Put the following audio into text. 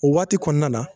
O waati kɔnɔna na